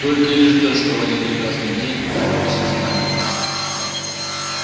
только и ждёшь что в один прекрасный день он бросится на них